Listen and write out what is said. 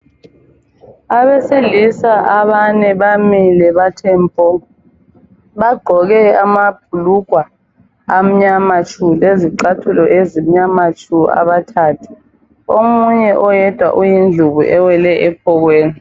Abesilisa abane bamile bathe mpo! Bagqoke amabhlugwa anyama tshu! lezicathulo ezimnyama tshu! Abathathu Omunye oyedwa uyindlubu ewele ephokweni.